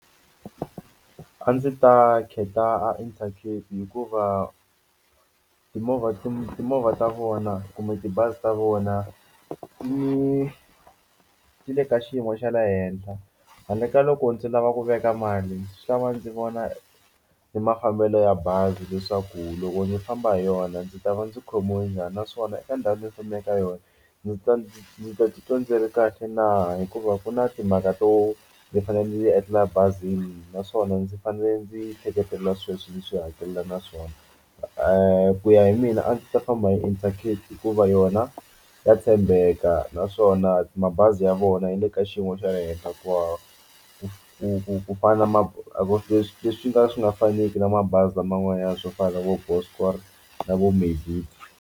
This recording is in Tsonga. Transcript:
A ndzi ta khetha Intercape hikuva timovha ti timovha ta vona kumbe tibazi ta vona ti ni ti le ka xiyimo xa le henhla handle ka loko ndzi lava ku veka mali ndzi xava ndzi vona ni mafambelo ya bazi leswaku loko ndzi famba hi yona ndzi ta va ndzi khomiwe njhani naswona eka ndhawu yo famba yaka ka yona ndzi ta ndzi ndzi ta titwa ndzi ri kahle na hikuva ku na timhaka to ndzi fanele ndzi endlela bazini naswona ndzi fanele ndzi hleketelela sweswi ndzi swi hakelela naswona ku ya hi mina a ndzi ta famba hi Intercape hikuva yona ya tshembeka naswona mabazi ya vona yi le ka xiyimo xa le henhla ku hava ku fana na ma leswi leswi nga swi nga faneki na mabazi laman'wana swo fana na vo Good scorer na vo Metro.